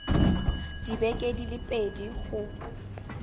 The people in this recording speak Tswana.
dibeke di le pedi go